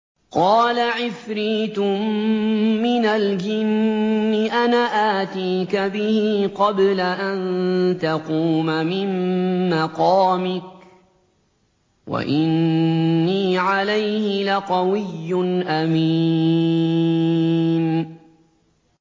قَالَ عِفْرِيتٌ مِّنَ الْجِنِّ أَنَا آتِيكَ بِهِ قَبْلَ أَن تَقُومَ مِن مَّقَامِكَ ۖ وَإِنِّي عَلَيْهِ لَقَوِيٌّ أَمِينٌ